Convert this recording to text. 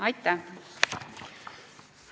Aitäh!